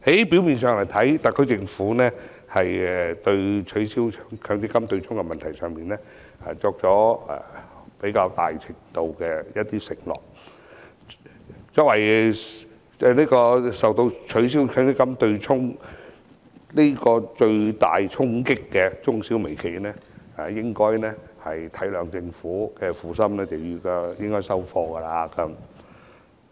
表面上，特區政府對取消強積金對沖的問題作出較大程度的承諾。作為受到取消強積金對沖最大衝擊的中小微企，應該體諒政府的苦心接受方案。